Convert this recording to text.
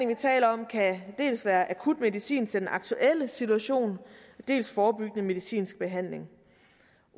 vi taler om kan dels være akut medicin til den aktuelle situation dels forebyggende medicinsk behandling